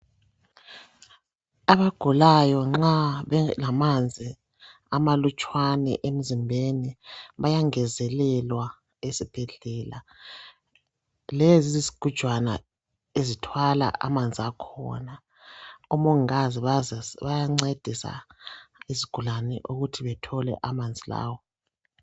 Abagulayo nxa belamanzi amalutshwane emzimbeni bayangezelelwa esibhedlela lezi yizigujana ezithwala amanzi akhona omongikazi bayancedisa izigulane ukuthi bethole amanzi lawa.